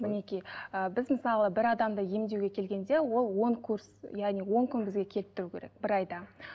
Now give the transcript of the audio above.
мінекей ы біз мысалы бір адамды емдеуге келгенде ол он курс яғни он күн бізге келіп тұруы керек бір айда